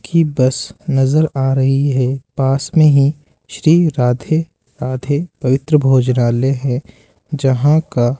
की बस नजर आ रही है पास में ही श्री राधे राधे पवित्र भोजनालय है जहां का --